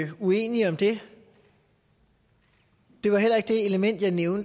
det er